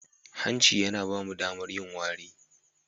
Hanci yana ba mu damar yin wari.